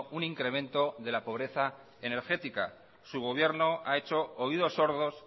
un incremento de la pobreza energética su gobierno ha hecho oídos sordos